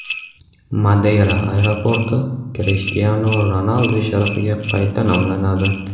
Madeyra aeroporti Krishtianu Ronaldu sharafiga qayta nomlanadi.